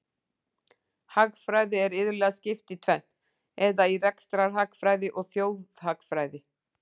Hagfræði er iðulega skipt í tvennt, eða í rekstrarhagfræði og þjóðhagfræði.